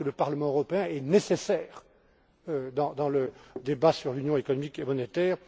invités. Je pense que le Parlement européen est nécessaire dans le débat sur l'union économique et